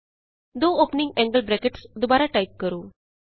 ਦੋ opening angle brackets ਦੁਬਾਰਾ type ਕਰੋ